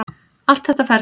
Allt þetta ferli.